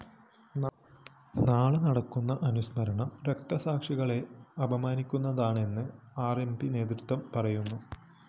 നാളെ നടക്കുന്ന അനുസ്മരണം രക്തസാക്ഷികളെ അപമാനിക്കുന്നതാണെന്ന് ആർ എം പി നേതൃത്വവും പറയുന്നു